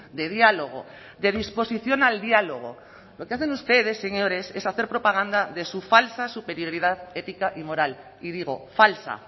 de diálogo de disposición al diálogo lo que hacen ustedes señores es hacer propaganda de su falsa superioridad ética y moral y digo falsa